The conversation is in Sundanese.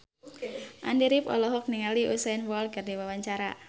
Andy rif olohok ningali Usain Bolt keur diwawancara